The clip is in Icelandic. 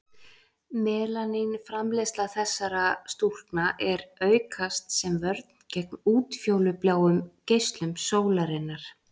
Melanín framleiðsla þessara stúlkna er aukast sem vörn gegn útfjólubláum geislum sólarinnar.